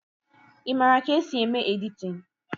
Ị maara ka-esi eme editin?